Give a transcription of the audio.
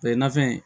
nafɛn